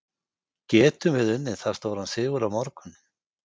Getum við unnið það stóran sigur á morgun?